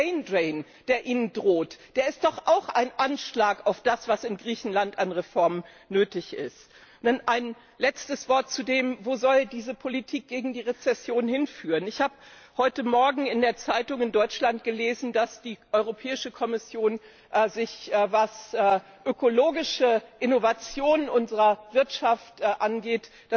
Dieser Braindrain, der Ihnen droht, der ist doch auch ein Anschlag auf das, was in Griechenland an Reformen nötig ist. Ein letztes Wort dazu, wo diese Politik gegen die Rezession hinführen soll Ich habe heute Morgen in der Zeitung in Deutschland gelesen, dass sich die Europäische Kommission von dem, was ökologische Innovationen unserer Wirtschaft angeht,